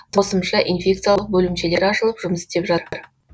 қосымша инфекциялық бөлімшелер ашылып жұмыс істеп жатыр